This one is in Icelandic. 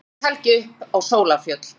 Um vorið gekk Helgi upp á Sólarfjöll.